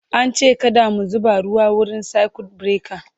an ce kada mu zuba ruwa wurin circuit breaker